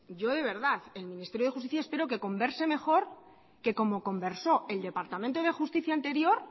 yo de verdad el ministerio de justicia espero que converse mejor que como conversó el departamento de justicia anterior